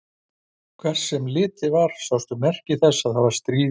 Hvert sem litið var sáust merki þess að það var stríð í heiminum.